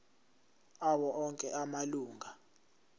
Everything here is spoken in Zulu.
awo onke amalunga